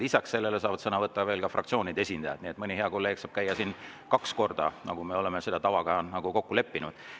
Lisaks sellele saavad sõna võtta ka fraktsioonide esindajad, nii et mõni hea kolleeg saab käia siin kaks korda, nagu me oleme selle tava kokku leppinud.